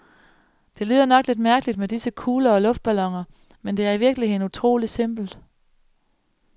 Det lyder nok lidt mærkeligt med disse kugler og luftballoner, men det er i virkeligheden utroligt simpelt.